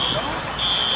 Təcili təcili.